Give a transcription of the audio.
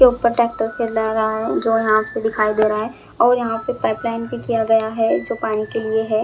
जो यहाँ पे दिखाई दे रहा है और यहाँ पे पाइप लाइन भी किया गया है जो पानी के लिए है।